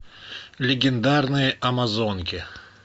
легендарные амазонки